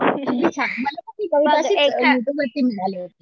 बघ एखादं